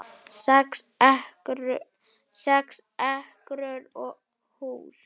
Sex ekrur og hús